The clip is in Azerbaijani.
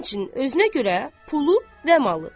Həmçinin özünə görə pulu və malı.